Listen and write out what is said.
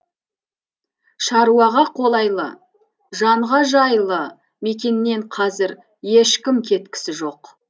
шаруаға қолайлы жанға жайлы мекеннен қазір ешкім кеткісі жоқ